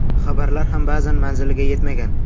Xabarlar ham ba’zan manziliga yetmagan.